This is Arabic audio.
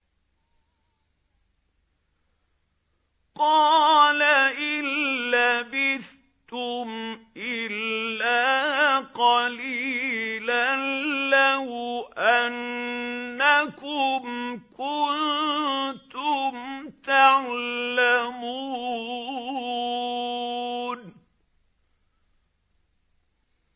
قَالَ إِن لَّبِثْتُمْ إِلَّا قَلِيلًا ۖ لَّوْ أَنَّكُمْ كُنتُمْ تَعْلَمُونَ